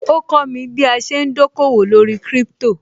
Ó kọ́mi bí a ṣe ń dòkòwò lórí Crypto